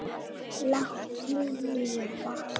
Látnir lifa